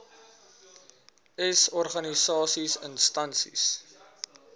s organisasies instansies